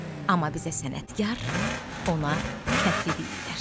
Amma bizə sənətkar, ona kəndli deyirlər.